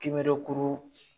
Kinberekuru